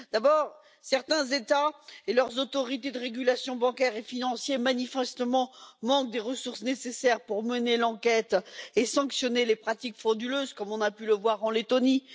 D'abord, certains États et leurs autorités de régulation bancaire et financière ne disposent manifestement pas des ressources nécessaires pour mener l'enquête et sanctionner les pratiques frauduleuses, comme on a pu le voir en Lettonie.